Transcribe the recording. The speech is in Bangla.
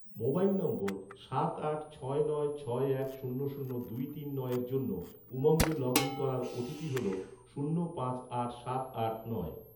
মোবাইল নম্বর, সাত আট ছয় নয় ছয় এক শূন্য শূন্য দুই তিন নয়ের জন্য, উমঙ্গে লগ ইন করার ওটিপি হল, শূন্য পাঁচ আট সাত আট নয়